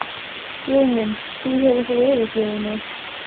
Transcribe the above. Guðmundsson, staðfesti það í fyrrgreindum blaðagreinum þrem árum seinna.